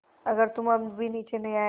अगर तुम अब भी नीचे नहीं आये